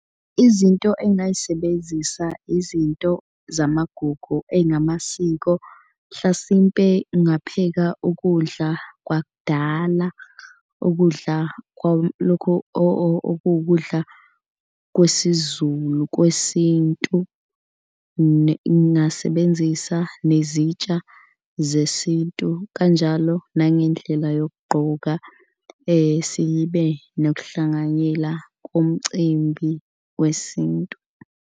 Izinto engingayisebenzisa izinto zamagugu ey'ngamasiko. Mhlasimpe ngingapheka ukudla kwakudala ukudla lokhu okuwukudla kwesiZulu kwesintu. Ngingasebenzisa nezintsha zesintu kanjalo nangendlela yokugqoka sibe nokuhlanganyela komcimbi wesintu.